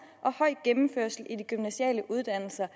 og høj gennemførelse i de gymnasiale uddannelser